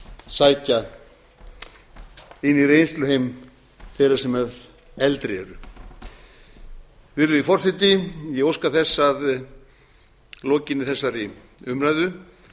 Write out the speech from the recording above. sækja inn í reynsluheim þeirra sem eldri eru virðulegi forseti ég óska þess að lokinni þessari umræðu